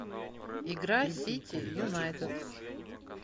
игра сити юнайтед